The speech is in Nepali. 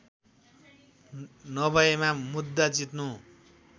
नभएमा मुद्दा जित्नु